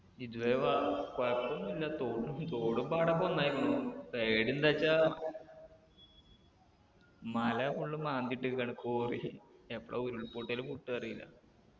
ഇതുവരെ വ കൊഴപ്പൊന്നുല്ല തോടും തോടും പാടൊക്കെ ഒന്നായിക്കണു പേടിയെന്താച്ചാ മല full ഉം മാന്തിയിട്ടേക്കാണ് quarry എപ്പളാ ഉരുൾപൊട്ടൽ പൊട്ടാ അറീല